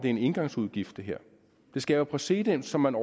er en engangsudgift det skaber præcedens som man